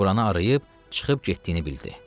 Ora-buranı arayıb çıxıb getdiyini bildi.